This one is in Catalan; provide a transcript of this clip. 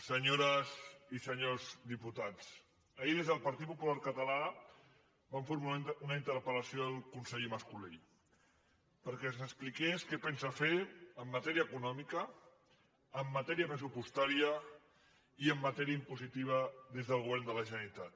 senyores i senyors diputats ahir des del partit popular català vam formular una interpel·lació al conseller mas colell perquè ens expliqués què pensa fer en matèria econòmica en matèria pressupostària i en matèria impositiva des del govern de la generalitat